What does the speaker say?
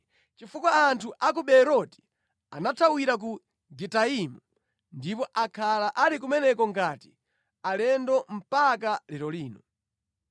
chifukwa anthu a ku Beeroti anathawira ku Gitaimu ndipo akhala ali kumeneko ngati alendo mpaka lero lino.